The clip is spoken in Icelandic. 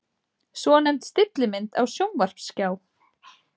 Svonefnd stillimynd á sjónvarpsskjá.